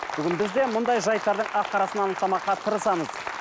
бүгін бізде мұндай жайттардың ақ қарасын анықтамаққа тырысамыз